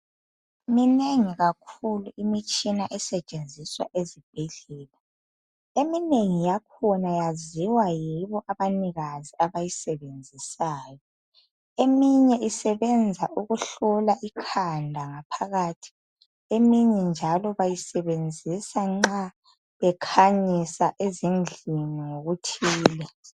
Minengi kakhulu imitshina esetshenziswa ezibhedlela eminye isebenza ukuhlola, eminengi yakhona yaziwa yibo abanikazi abayisebenzisayo, eminye isebenza ukuhlola ikhanda ngaphakathi, eminye njalo bayisebenzisa nxa bekhanyisa ezindlini ngokutshiyeneyo.